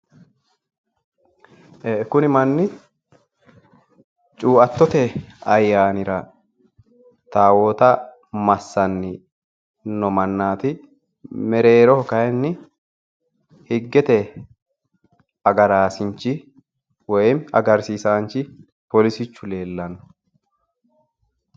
ee kuni manni cuuattote ayyaaniri taawoota haare massani noo mannaati kuni mereeroho kayiinni higgete agaraasinchi afamanno,